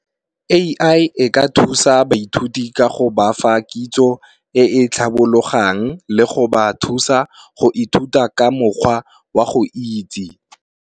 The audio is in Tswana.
A_I e ka thusa baithuti ka go bafa kitso e e tlhabologang, le go ba thusa go ithuta ka mokgwa wa go itse.